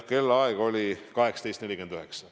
Kellaaeg oli 18.49.